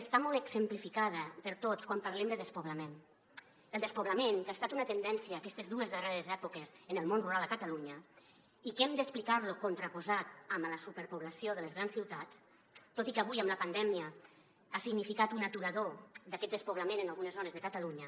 està molt exemplificada per a tots quan parlem de despoblament el despoblament que ha estat una tendència en aquestes dues darreres èpoques en el món rural a catalunya i que hem d’explicar lo contraposat amb la superpoblació de les grans ciutats tot i que avui amb la pandèmia ha significat un aturador d’aquest despoblament en algunes zones de catalunya